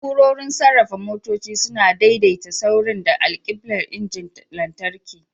Na'urorin sarrafa motoci suna daidaita saurin da alkiblar injinan lantarki.